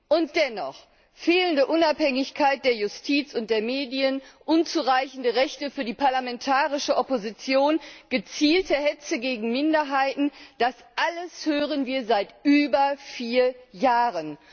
Und dennoch Fehlende Unabhängigkeit der Justiz und der Medien, unzureichende Rechte für die parlamentarische Opposition, gezielte Hetze gegen Minderheiten das alles hören wir seit über vier Jahren.